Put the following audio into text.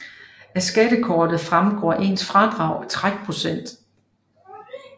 Af skattekortet fremgår ens fradrag og trækprocent